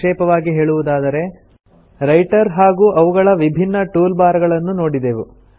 ಸಂಕ್ಷಿಪ್ತವಾಗಿ ಹೇಳುವುದಾದರೆ ರೈಟರ್ ಹಾಗೂ ಅವುಗಳ ವಿಭಿನ್ನ ಟೂಲ್ ಬಾರ್ ಗಳನ್ನು ನೋಡಿದೆವು